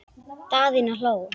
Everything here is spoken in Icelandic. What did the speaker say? Daðína hló.